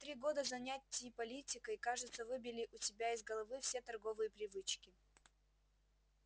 три года занятий политикой кажется выбили у тебя из головы все торговые привычки